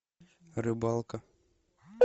рыбалка